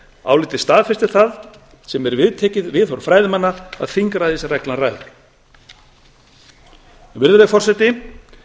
málum ráðuneytið staðfestir það sem er viðtekið viðhorf fræðimanna að þingræðisreglan ræður virðulegi forseti